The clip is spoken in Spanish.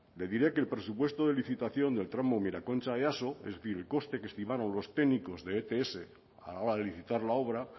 le diré que el presupuesto de licitación del tramo miraconcha easo es decir el coste que estimaron los técnicos de ets a la hora de licitar la obra